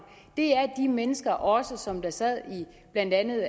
det er de mennesker også som sad i blandt andet